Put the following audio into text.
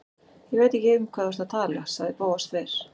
Ég veit ekki um hvað þú ert að tala- sagði Bóas þver